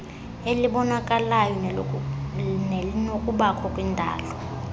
elibonakalayo nelinokubakho kwindalo